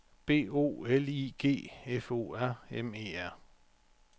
B O L I G F O R M E R